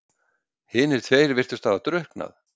Hinir tveir virtust hafa drukknað.